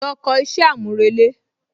Lọ kọ iṣẹ́ àmúrelé